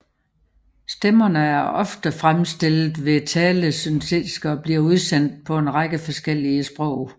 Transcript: Stemmerne er ofte fremstillet ved talesyntese og bliver udsendt på en række forskellige sprog